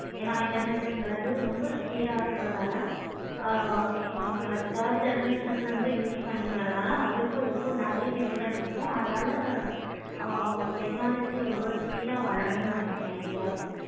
என internet கிறது ரொம்ப speed ஆஹ் இருக்குறதுனால so நம்ம third generation ல use பண்ணிக்கிட்டு வரதுனால நெறைய different இருக்கு அதுனால technology ரொம்ப speed ஆஹ் வளரும் நினைக்கேனே.